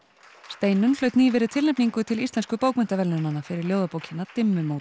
Steinunn hlaut nýverið tilnefningu til íslensku bókmenntaverðlaunanna fyrir ljóðabókina